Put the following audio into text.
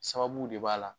Sababu de b'a la